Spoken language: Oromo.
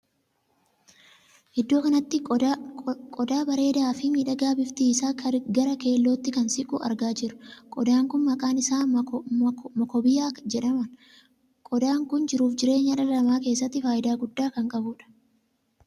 Iddoo kanatti qodaa bareedaa fi miidhagaa bifti isaa gara keellootti kan siqu argaa jirra. qodaan kun maqaan isaa mokobiyaa jedhaman. qodaa kun jiruu fi jireenya dhala namaa keessatti faayidaa guddaa kan qabudha.